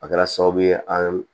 A kɛra sababu ye an